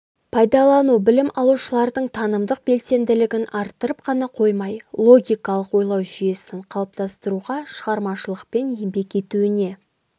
пайдалану білім алушылардың танымдық белсенділігін арттырып қана қоймай логикалық ойлау жүйесін қалыптастыруға шығармашылықпен еңбек етуіне